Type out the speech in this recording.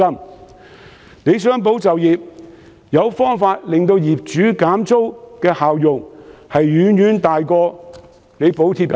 政府若想"保就業"，促使業主減租的效用遠遠大於補貼工資。